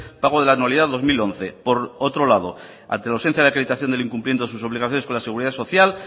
pago de la anualidad dos mil once por otro lado ante la ausencia de acreditación del incumplimiento de sus obligaciones con la seguridad social